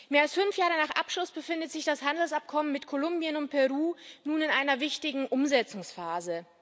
Mehr als fünf Jahre nach Abschluss befindet sich das Handelsabkommen mit Kolumbien und Peru nun in einer wichtigen Umsetzungsphase.